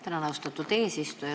Tänan, austatud eesistuja!